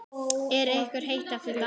Er ykkur heitt eftir dansinn?